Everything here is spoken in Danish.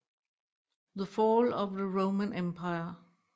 The Fall of the Roman Empire